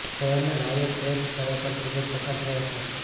શહેરના નાયક કેર્ચ ખરેખર ખૂબ જ પસાર થયા છે